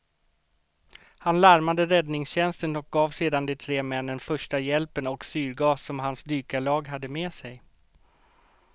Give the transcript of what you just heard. Han larmade räddningstjänsten och gav sedan de tre männen första hjälpen och syrgas som hans dykarlag hade med sig.